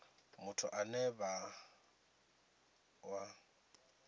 muthu ane vha ṱo ḓa